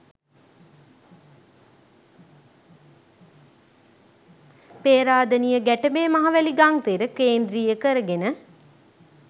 පේරාදෙණිය ගැටඹේ මහවැලි ගංතෙර කේන්ද්‍රීය කැරගෙන